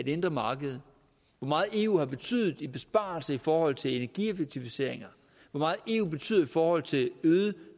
indre marked hvor meget eu har betydet i besparelse i forhold til energieffektiviseringer hvor meget eu betyder i forhold til øget